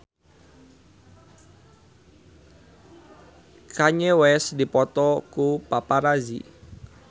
Kanye West dipoto ku paparazi